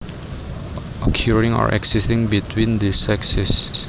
occurring or existing between the sexes